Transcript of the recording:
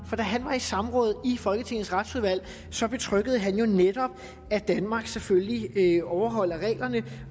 for da han var i samråd i folketingets retsudvalg betryggede han jo netop at danmark selvfølgelig overholder reglerne